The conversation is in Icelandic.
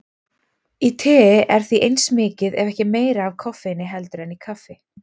Í tei er því eins mikið ef ekki meira af koffeini heldur en í kaffi.